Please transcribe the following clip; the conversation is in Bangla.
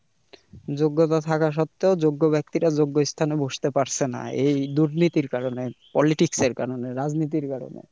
যোগ্যতা থাকা সত্ত্বেও যোগ্য ব্যক্তিরা যোগ্য স্থানে বসতে পারছেনা এই দুর্নীতির কারণে এর রাজনীতির কারণে।